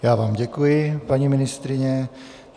Já vám děkuji, paní ministryně.